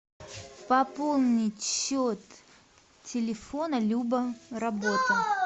пополнить счет телефона люба работа